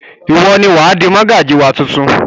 Ìwọ ni wà á di mọ́gàjí wa tuntun!